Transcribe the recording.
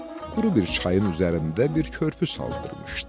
Quru bir çayın üzərində bir körpü saldırmışdı.